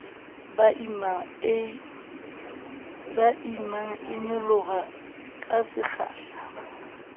ba imang e nyolohang kasekgahla